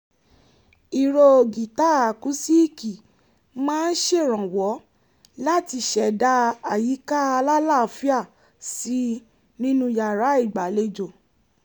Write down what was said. ìró gìtá àkúsíìkì máa ń ṣèrànwọ́ láti ṣẹ̀dá àyíká alálàáfíà si nínú yàrá ìgbàlejò